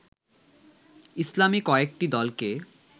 ইসলামী কয়েকটি দলকে